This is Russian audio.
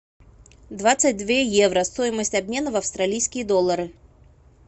двадцать две евро стоимость обмена в австралийские доллары